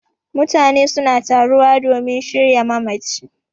Mutane suna taruwa domin shirya mamaci